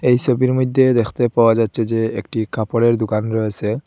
এই ছবির মধ্যে দেখতে পাওয়া যাচ্ছে যে একটি কাপড়ের দুকান রয়েসে।